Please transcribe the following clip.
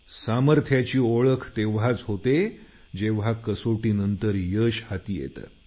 सामर्थ्याची ओळख तेव्हाच होते जेव्हा कसोटीनंतर यश हाती येतं